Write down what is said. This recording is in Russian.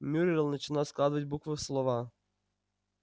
мюриель начала складывать буквы в слова